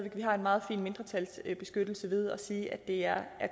at vi har en meget fin mindretalsbeskyttelse ved at sige at det er